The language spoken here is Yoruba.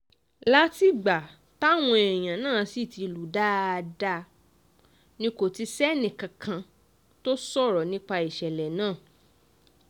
látìgbà táwọn èèyàn náà sì ti lù ú dáadáa ni kò ti sẹ́nìkankan tó sọ̀rọ̀ nípa ìṣẹ̀lẹ̀ náà